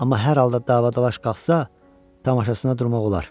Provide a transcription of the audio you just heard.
Amma hər halda davalaş qaxsa, tamaşasına durmaq olar.